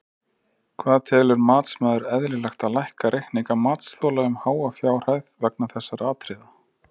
Hvað telur matsmaður eðlilegt að lækka reikninga matsþola um háa fjárhæð vegna þessara atriða?